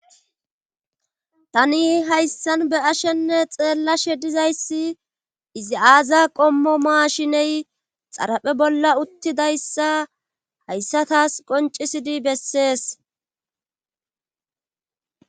tani hayssan be ashenne xeellashe dizayssi izi aaza qommo maashiney xaraphe bolla uttidayssa hayssa taas qoncisidi bessees